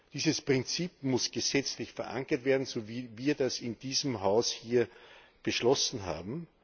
Dieses Prinzip muss gesetzlich verankert werden, so wie wir das in diesem Haus hier beschlossen haben.